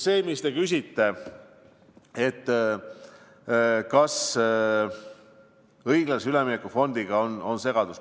See, mis te küsite, et kas õiglase ülemineku fondiga on segadus.